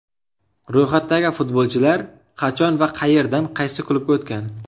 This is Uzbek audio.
Ro‘yxatdagi futbolchilar qachon va qayerdan qaysi klubga o‘tgan?